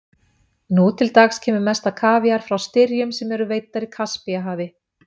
Nú til dags kemur mest af kavíar frá styrjum sem veiddar eru í Kaspíahafi.